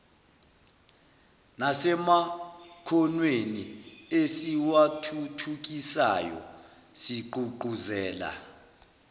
nasemakhonweni esiwathuthukisayo sigqugquzela